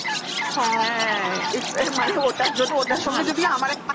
হ্যাঁ হ্যাঁ এর মানে ওটার জন্য ওটা সঙ্গে আমার এক